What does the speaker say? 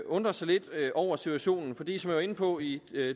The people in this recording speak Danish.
undre sig lidt over situationen fordi som jeg var inde på i